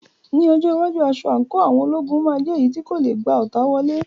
Ní ọjọ́ iwájú, aṣọ àǹkóò àwọn ológun máa jẹ́ èyí tí kò lè gba ọta wọlé.